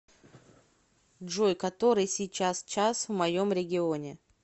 джой который сейчас час в моем регионе